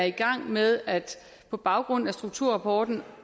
i gang med på baggrund af strukturrapporten